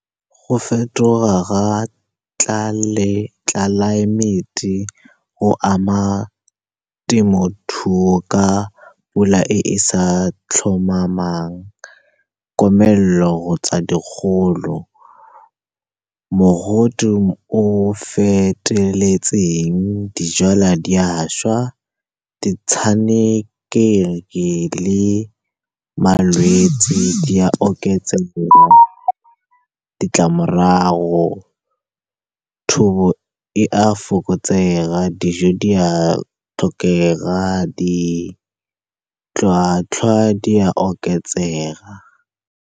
Go fetoga ga tlelaemete go ama temothuo ka pula e sa tlhomamang, komelelo kgotsa dikgolo, mogote o feteletseng, dijalwa di a šwa, ditshenekegi le malwetsi di a oketsega. Ditlamorago, thobo e a fokotsega, dijo di a tlhokega, ditlhwatlhwa di a oketsega.